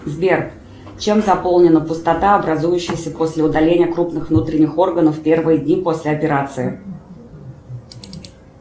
сбер чем заполнена пустота образующаяся после удаления крупных внутренних органов первые дни после операции